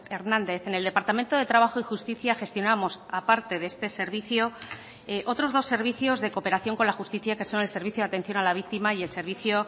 hernández en el departamento de trabajo y justicia gestionamos a parte de este servicio otros dos servicios de cooperación con la justicia que son el servicio de atención a la víctima y el servicio